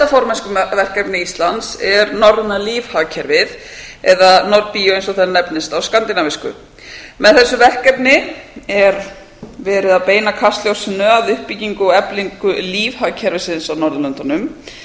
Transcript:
formennskuverkefni íslands er norræna lífhagkerfið eða nordbio eins og það nefnist á skandinavísku með þessu verkefni er verið að beina kastljósinu að uppbyggingu og eflingu lífhagkerfisins á norðurlöndunum